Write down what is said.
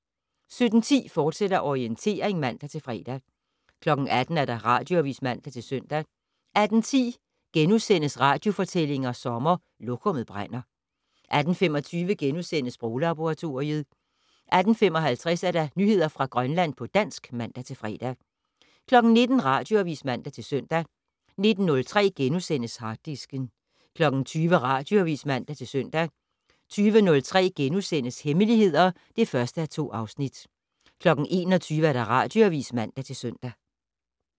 17:10: Orientering, fortsat (man-fre) 18:00: Radioavis (man-søn) 18:10: Radiofortællinger sommer: Lokummet brænder * 18:25: Sproglaboratoriet * 18:55: Nyheder fra Grønland på dansk (man-fre) 19:00: Radioavis (man-søn) 19:03: Harddisken * 20:00: Radioavis (man-søn) 20:03: Hemmeligheder (1:2)* 21:00: Radioavis (man-søn)